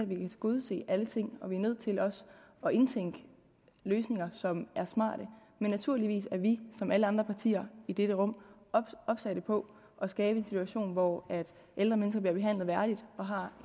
vi kan tilgodese alle ting og vi er nødt til også at indtænke løsninger som er smarte men naturligvis er vi ligesom alle andre partier i dette rum opsatte på at skabe en situation hvor ældre mennesker bliver behandlet værdigt og har